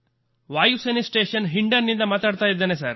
ವಾಯು ಸೇನೆ ಸ್ಟೇಷನ್ ಹಿಂಡನ್ ನಿಂದ ಮಾತನಾಡುತ್ತಿದ್ದೇನೆ